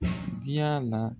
Diya la